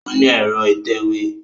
Ó ní ẹ̀rọ ìtẹ̀wé